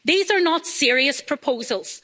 These are not serious proposals.